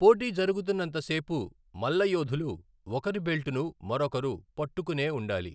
పోటీ జరుగుతున్నంత సేపు మల్లయోధులు ఒకరి బెల్టును మరొకరు పట్టుకునే ఉండాలి.